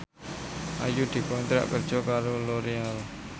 Ayu dikontrak kerja karo Loreal